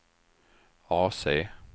AC